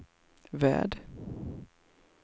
värld